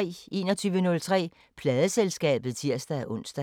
21:03: Pladeselskabet (tir-ons)